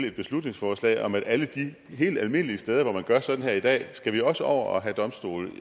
et beslutningsforslag om at alle de helt almindelige steder hvor man gør sådan her i dag skal man også over og have domstole